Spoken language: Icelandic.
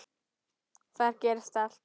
Þar gerist allt.